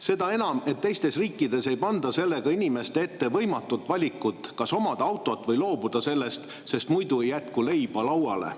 Seda enam, et teistes riikides ei panda sellega inimeste ette võimatut valikut, kas omada autot või sellest loobuda, sest muidu ei jätku leiba lauale.